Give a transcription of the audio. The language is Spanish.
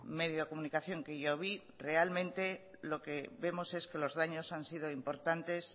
medio de comunicación que yo vi realmente lo que vemos es que los daños han sido importantes